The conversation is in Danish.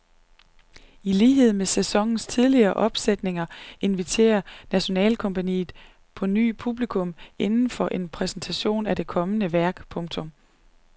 I lighed med sæsonens tidligere nyopsætninger inviterer nationalkompagniet på ny publikum indenfor til en præsentation af det kommende værk. punktum